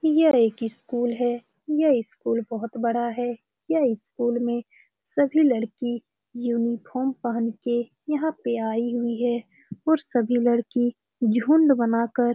यह एक इस स्कूल है। यह इस स्कूल बोहोत बड़ा है। यह इस स्कूल में सभी लड़की यूनिफार्म पहन के यहाँ पे आई हुई है। और सभी लड़की झुण्ड बना कर--